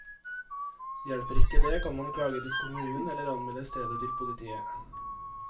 Hjelper ikke det, kan man klage til kommunen, eller anmelde stedet til politiet.